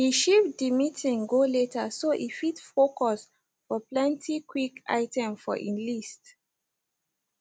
he shifte de meeting go later so e fit foucus for plenty quick item for e list